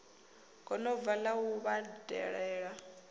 gonobva la u yo vhadalela